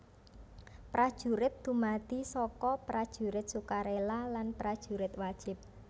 Prajurit dumadi saka Prajurit Sukarela lan Prajurit Wajib